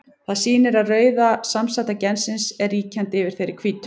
Það sýnir að rauða samsæta gensins er ríkjandi yfir þeirri hvítu.